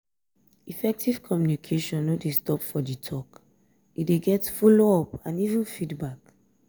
effective communication no dey stop for di talk e de get follow up and even feedback